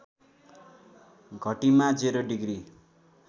घटीमा ० degree